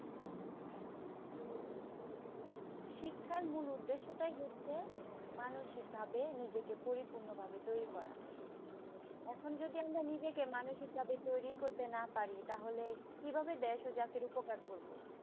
শিক্ষার মূল উদ্দেশ্য টাই হচ্ছে মানসিকভাবে মানুষিক ভাবে নিজেকে পরিপূর্ণ ভাবে তরি করা । এখন যদি আমরা নিজেকে মানসিকভাবে তৈরি করতে না পারি তাহলে কিভাবে দেশ ও জাতির উপকার করবো